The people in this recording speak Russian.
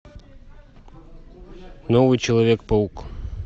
новый человек паук